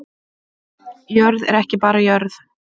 Jörð er ekki bara jörð